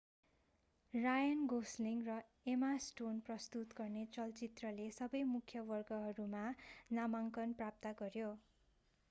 रायन गोस्लिङ र Emma Stone प्रस्तुत गर्ने चलचित्रले सबै मुख्य वर्गहरूमा नामाङ्कन प्राप्त गर्‍यो।